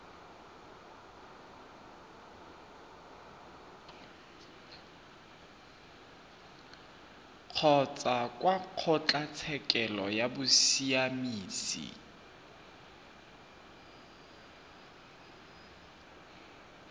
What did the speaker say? kgotsa kwa kgotlatshekelo ya bosiamisi